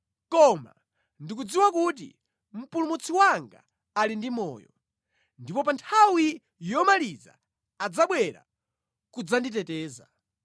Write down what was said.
Koma ndikudziwa kuti mpulumutsi wanga ali ndi moyo, ndipo pa nthawi yomaliza adzabwera kudzanditeteza.